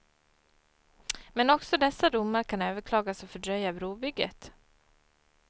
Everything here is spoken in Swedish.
Men också dessa domar kan överklagas och fördröja brobygget.